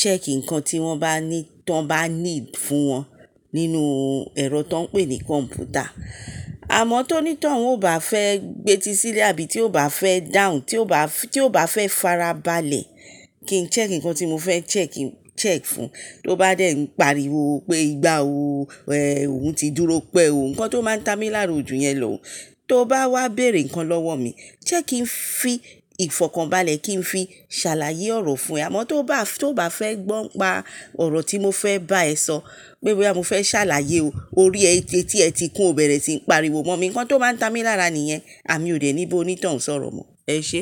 check nǹkan tí wọ́n bá ní, tan bá need fún wọn nínú ẹ̀rọ tan pè ní kọ̀m̀pútà. Àmọ́ tóní tohun ó bá fẹ́ gbé ti sílé àbí tí ó bá fẹ́ dahun, tí ó bá, tí ó bá fẹ́ farabalẹ̀ kí n check nǹkan tí mo fẹ́ check, check fún, tó bá dẹ̀ n pariwo pé ìgbà o, ẹ́, òun ti dúró pẹ́ o. Ǹnkan tó máa n ta mí lára ojú yẹn lò. Tó bá wá béèrè nǹkan lọ́wọ́ mi, jé kí n fi ìfọ̀kànbalẹ̀ kí n fi ṣàlàyé ọ̀rọ̀ fún ẹ? Àmọ́ tó bá, tó bá fẹ́ gbọ́ ń pa ọ̀rọ̀ tí mo fẹ́ bá ẹ sọ, pe bóyá mo fẹ́ ṣàlàyé o, orí èti ẹ ti kún, o bẹ̀rẹ̀ sí n pariwo mọ̀ mí, nǹkan tó máa n ta mí lára nìyẹn, ànd mi ò dè ní ba onítohun sọ̀rọ̀ mọ́, ẹ ṣe?